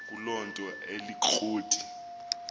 kuloo nto alikroti